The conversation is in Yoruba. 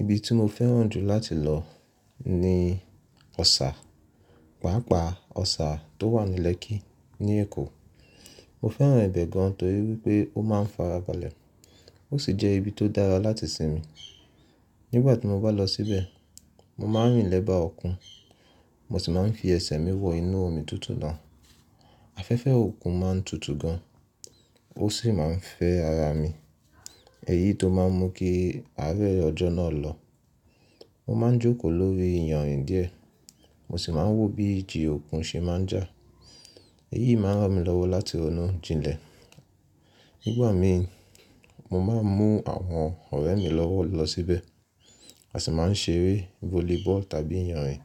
Ibi tí mo fẹ́ràn jù láti lọ ni Ọ̀sà, pàápàá Ọ̀sà tó wà ní Lekki ní Èkó. Mo fẹ́ràn ibẹ̀ gan torí wípé ó máa ń farabalẹ̀, ó sì jẹ́ ibi tó dára láti sinmi. Nígbà tí mo bá lọ síbẹ̀, mo máa ń rìn lẹ́bàá òkun, mo sì máa ń fi ẹsẹ̀ mi wọ inú omi tútù náà. Afẹ́fẹ́ òkun máa ń tutù gan, ó sì máa ń fẹ́ ara mi, èyí tó máa ń mú kí àárẹ́ ọjọ́ náà lọ. Mo máa ń jókòó lórí ìyanrìn díẹ̀, mo sì máa ń wò bí igi òkun ṣe máa ń jà. Èyí máa ń ràn mí lọ́wọ́ láti ronú jinlẹ̀. Nígbà mí, mo máa ń mú àwọn ọ̀rẹ́ mi lọ́wọ́ lọ síbẹ̀, a sì máa ń ṣeré volleyball tàbí ìyanrìn,